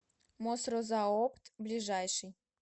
мосрозаопт ближайший